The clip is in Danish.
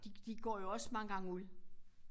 De de går jo også mange gange ud